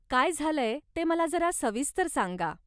काय झालंय ते मला जरा सविस्तर सांगा.